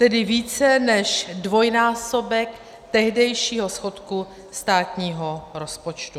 Tedy více než dvojnásobek tehdejšího schodku státního rozpočtu.